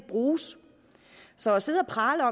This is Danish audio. bruges så at sidde og prale af